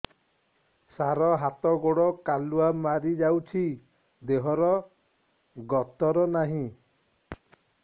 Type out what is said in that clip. ସାର ହାତ ଗୋଡ଼ କାଲୁଆ ମାରି ଯାଉଛି ଦେହର ଗତର ନାହିଁ